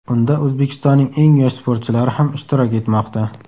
Unda O‘zbekistonning eng yosh sportchilari ham ishtirok etmoqda.